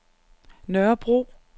Nørrebro